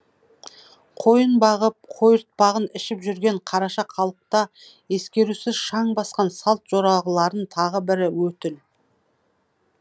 қойын бағып қойыртпағын ішіп жүрген қараша халықта ескерусіз шаң басқан салт жоралғыларын тағы бірі өтіл